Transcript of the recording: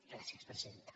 gràcies presidenta